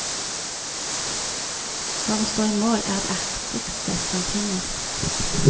For å stå i mål er det artigste som finnes.